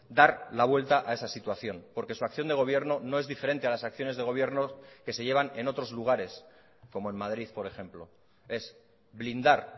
dar la vuelta a esa situación porque su acción de gobierno no es diferente a las acciones de gobierno que se llevan en otros lugares como en madrid por ejemplo es blindar